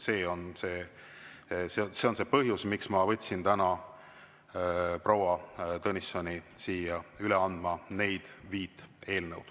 See on see põhjus, miks ma võtsin täna proua Tõnissoni siia üle andma neid viit eelnõu.